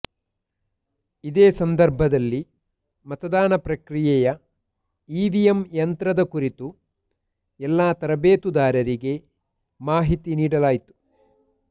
ಇದೇ ಸಂದರ್ಭದಲ್ಲಿ ಮತದಾನ ಪ್ರಕ್ರಿಯೆಯ ಇವಿಎಂ ಯಂತ್ರದ ಕುರಿತು ಎಲ್ಲ ತರಬೇತುದಾರರಿಗೆ ಮಾಹಿತಿ ನೀಡಲಾಯಿತು